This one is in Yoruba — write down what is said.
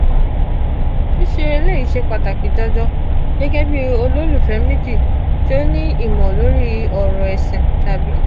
sise eleyi se pataki jojo gege bi ololufe meji ti o ni imo lori oro esin tabi...